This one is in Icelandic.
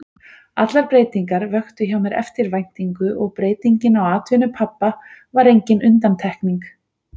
Allar breytingar vöktu hjá mér eftirvæntingu og breytingin á atvinnu pabba var engin undantekning.